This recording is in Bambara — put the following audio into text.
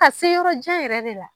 Ka se yɔrɔjan yɛrɛ de la.